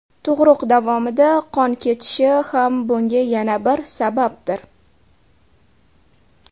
Tug‘ruq davomida qon ketishi ham bunga yana bir sababdir.